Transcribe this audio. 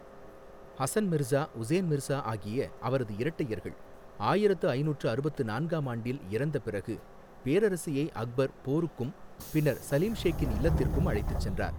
ஹசன் மிர்சா, உசேன் மிர்சா ஆகிய அவரது இரட்டையர்கள் ஆயிரத்து ஐநூற்று அறுபத்து நான்காம் ஆண்டில் இறந்த பிறகு, பேரரசியை அக்பர் போருக்கும் பின்னர் சலீம் ஷேக்கின் இல்லத்திற்கும் அழைத்துச் சென்றார்.